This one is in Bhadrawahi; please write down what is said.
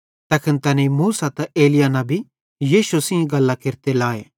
तैखन तैनेईं मूसा ते एलिय्याह नबी यीशु सेइं गल्लां केरते लाए